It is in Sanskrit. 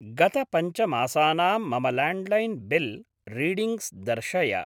गत पञ्च मासानां मम लाण्ड्लैन् बिल् रीडिङ्ग्स् दर्शय।